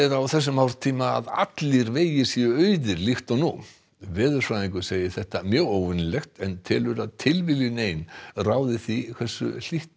á þessum árstíma að allir vegir séu auðir líkt og nú veðurfræðingur segir þetta mjög óvenjulegt en telur að tilviljun ein ráði því hversu hlýtt